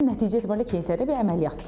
Nəticə etibarilə keysəriyyə bir əməliyyatdır.